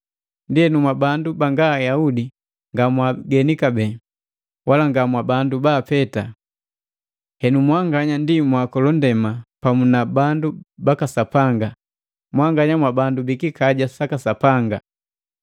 Ndienu, mwabandu banga Ayaudi nga mwaagene kabee, wala nga mwabandu baapeta. Henu mwanganya ndi mwaakola ndema pamu na bandu baka Sapanga, mwanganya mwabandu bikikaja saka Sapanga.